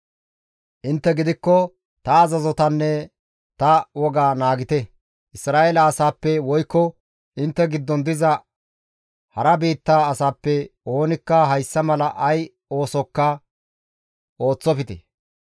Intte gidikko ta azazotanne ta woga naagite; Isra7eele asaappe woykko intte giddon diza hara biitta asappe oonikka hayssa mala ay oosokka ooththofte.